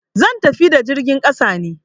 zan tafi ta jirgin ƙasa ne.